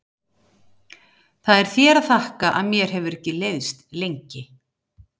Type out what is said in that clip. Það er þér að þakka að mér hefur ekki leiðst lengi.